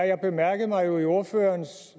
jeg mærkede mig jo i ordførerens